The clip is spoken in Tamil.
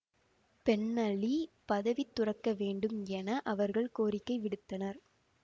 பென் அலி பதவி துறக்க வேண்டும் என அவர்கள் கோரிக்கை விடுத்தனர்